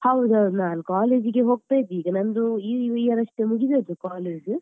ಹೌದು ಹೌದು ನಾನ್ college ಗೆ ಹೋಗ್ತಿದ್ದೆ ಮತ್ತೆ ನಂದು ಈ ಮುಗ್ದದ್ದು year ಅಷ್ಟೇ ಮುಗ್ದದ್ದು college .